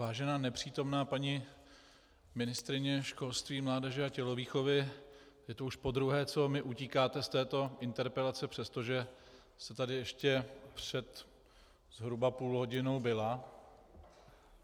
Vážená nepřítomná paní ministryně školství, mládeže a tělovýchovy, je to už podruhé, co mi utíkáte z této interpelace, přestože jste tady ještě před zhruba půl hodinou byla.